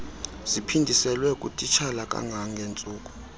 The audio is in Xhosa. ziphindiselwe kutitshala kangangentsuku